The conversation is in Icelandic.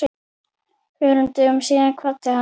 Fjórum dögum síðar kvaddi hann.